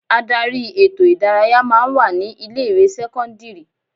Ádárì ètò ìdárayá máa ń wà ní ilé ìwé sẹ́kọ́ńdírì.